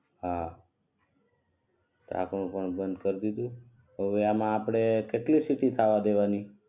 હા ઢાંકણું પણ બંધ કર દીધુ હવે આમાં આપડે કેટલી સીટી થવા દેવાની